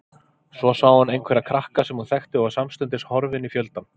Svo sá hún einhverja krakka sem hún þekkti og var samstundis horfin í fjöldann.